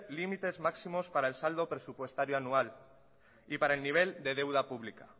límites máximos para el saldo presupuestario anual y para el nivel de deuda pública